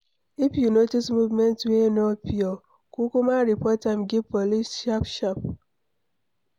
If you notice movement wey no pure, kukuma report am give police sharp sharp